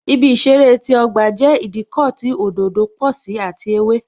Ibi ìṣeré ti ọgba jẹ́ Ìdíkọ̀ tí òdòdó pò sí àti ewé